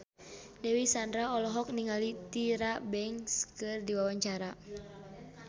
Dewi Sandra olohok ningali Tyra Banks keur diwawancara